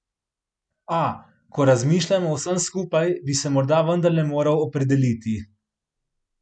A, ko razmišljam o vsem skupaj, bi se morda vendarle moral opredeliti.